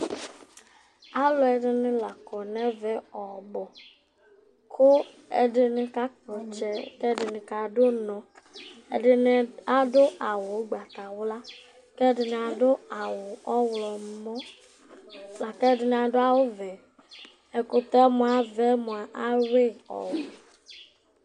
ɔluɛdi ni la kɔ nu ɛvɛ ɔbu, ku ɛdini kakpɔtsɛ ku ɛdini kadu unɔ , ɛdini adu awu ugbata wla, kɛdini adu awu ɔwlɔmɔ, la ku ɛdini adu awu vɛ, ɛkutɛ mʋa avɛ mʋa awui ɔɔ